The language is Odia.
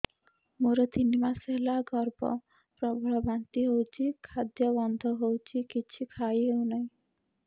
ମୋର ତିନି ମାସ ହେଲା ଗର୍ଭ ପ୍ରବଳ ବାନ୍ତି ହଉଚି ଖାଦ୍ୟ ଗନ୍ଧ ହଉଚି କିଛି ଖାଇ ହଉନାହିଁ